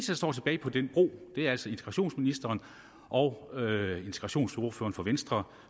der står tilbage på den bro er integrationsministeren og integrationsordføreren for venstre